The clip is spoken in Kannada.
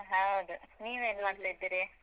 ಹೌದು. ನೀವ್ ಏನ್ ಮಾಡ್ತಾ ಇದ್ದೀರಿ.